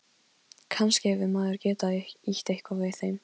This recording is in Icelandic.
Kannski hefur maðurinn getað ýtt eitthvað við þeim.